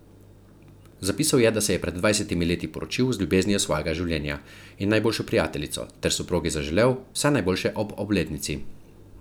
Zapisal je, da se je pred dvajsetimi leti poročil z ljubeznijo svojega življenja in najboljšo prijateljico ter soprogi zaželel vse najboljše ob obletnici.